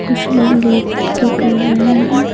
कुछ लोग लेट के कर रहे हैं।